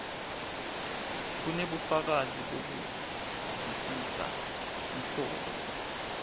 kunebufakazi bekuvisisa luhlobo